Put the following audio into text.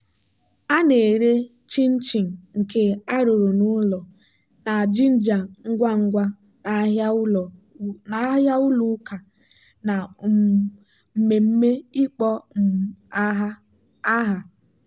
a na-ere chin-chin nke arụrụ n'ụlọ na ginger ngwa ngwa n'ahịa ụlọ ụka na um mmemme ịkpọ um aha.